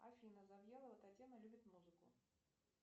афина завьялова татьяна любит музыку